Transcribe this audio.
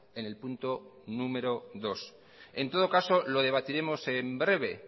en el punto número dos en todo caso lo debatiremos en breve